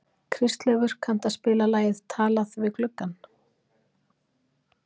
Kristleifur, kanntu að spila lagið „Talað við gluggann“?